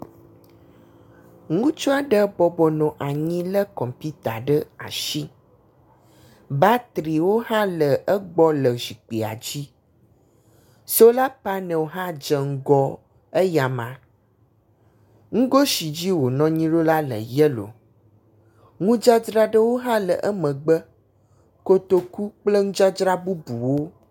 Ŋutsu aɖe bɔbɔnɔ anyi le kɔmputa ɖe asi. Batriwo hã le egbɔ le zikpuia dzi. Sola panelwo hã dze ŋgɔ eya ma. Nugo si dzi wonɔ anyi ɖo la le yelo. Ŋudzadzra ɖewo hã le emegbe. Kotoku kple nudzadzra bubuwo.